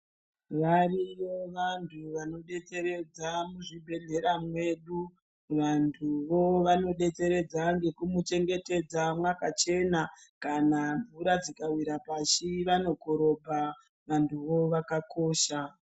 Variyo vantu vanodetseredza muzvibhedhlera zvedu. Vantuvo vanodetseredza ngekuchengetedza mwakachena. Kana mvura dzikawira pashi vantuvo vanokorobha. Vantuvo vakakosha.